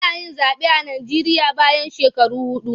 Ana yin zaɓe a Najeriya bayan shekaru huɗu.